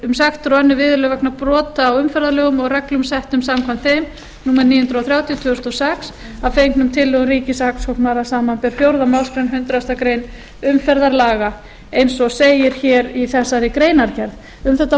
um sektir og önnur viðurlög vegna brota á umferðarlögum og reglum settum samkvæmt þeim númer níu hundruð þrjátíu tvö þúsund og sex að fengnum tillögum ríkissaksóknara samanber fjórðu málsgrein hundrað greinar umferðarlaga eins og segir í þessari greinargerð um þetta